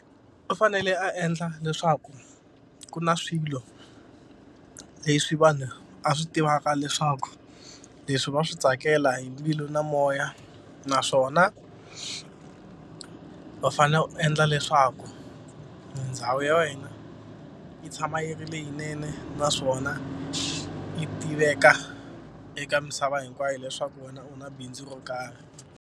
U fanele a endla leswaku ku na swilo leswi vanhu a swi tivaka leswaku leswi va swi tsakela hi mbilu na moya. Nnaswona, u fanele u endla leswaku ndhawu ya wena yi tshama yi ri leyinene naswona yi tiveka eka misava hinkwayo leswaku wena u na bindzu ro karhi.